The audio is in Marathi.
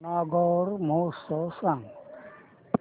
नागौर महोत्सव सांग